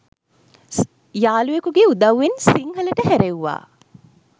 යාළුවෙකුගේ උදව්වෙන් සිංහලට හැරෙව්වා.